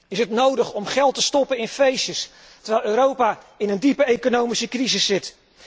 Is het nodig om geld te stoppen in feestjes, terwijl Europa in een diepe economische crisis zit?